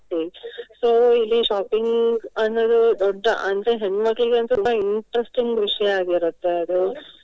So ಇಲ್ಲಿ shopping ಅನ್ನುವುದು ದೊಡ್ಡ ಅಂದ್ರೆ ಹೆಣ್ಮಕ್ಳಿಗಂತೂ ಸಹ ತುಂಬ interesting ವಿಷಯ ಆಗಿರುತ್ತೆ ಅದು.